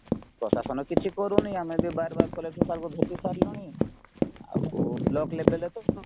ପ୍ରଶାସନ କିଛି କରୁନି ଆମେ ବି ବାର ବାର collector sirଙ୍କୁ ଭେଟିସାରିଲୁଣି ଆଉ ବ୍ଲକ level ରେତ